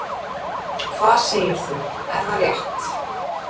Hvað segir þú, er það rétt?